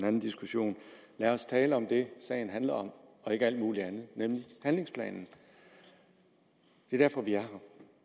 anden diskussion lad os tale om det sagen handler om og ikke alt muligt andet nemlig handlingsplanen det er derfor vi er